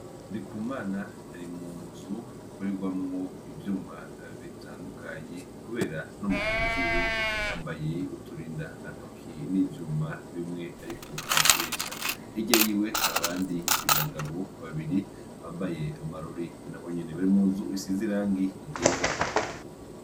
Ndikumana, arimunz 'ikoregwamw' ivyuma bitandukanye kubera no mu ntoki ziwe yambay' uturinda ntoki n' ivyuma bimw' arik' arakoresha, hirya yiwe har' abandi bagabo babiri bambaye n' abonyen' uturinda ntoki barimunz' isiz'irangi ryera.